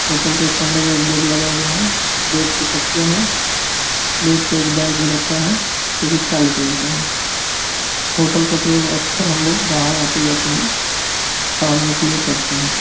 Hotel के कमरे में एक बेड लगा हुआ है। बेड पे तकिया है। बेड पर एक बैग भी रखा है। जो काले कलर का है। होटल का प्रयोग अक्सर हमलोग बाहर आते जाते हैं ठहरने के लिए करते हैं।